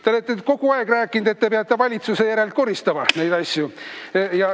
Te olete kogu aeg rääkinud, et te peate valitsuse järelt asju koristama.